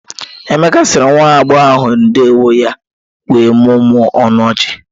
Emeka sịrị nwa agbọghọ ahụ ndeewọ ya wee mụmụọ ọnụ ọchị.